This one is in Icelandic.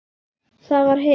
Það var hitt.